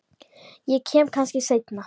Ég kem kannski seinna